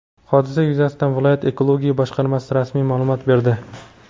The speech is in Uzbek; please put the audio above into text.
Hodisa yuzasidan viloyat Ekologiya boshqarmasi rasmiy ma’lumot berdi.